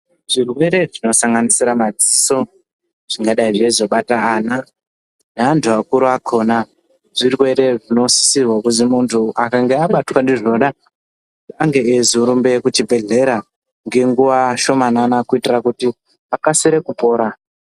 Chirwere chinosanganisira maziso, chingadai cheizobata ana neantu akuru akhona, zvirwere zvinosisirwe kuti kana muntu akange abatwa ndizvona ange eizorumba kuchibhedhlera ngenguwa shomanane kuitira kuti akasike kupora.